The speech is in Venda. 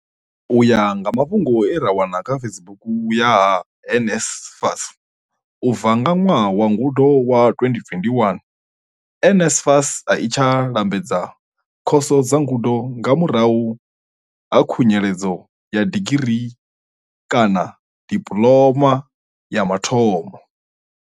U ya nga mafhungo a re kha webusaithi ya NSFAS, u bva nga ṅwaha wa ngudo wa 2021, NSFAS a i tsha lambedza khoso dza ngudo nga murahu ha khunyeledzo ya digiri kana dipuloma ya mathomo.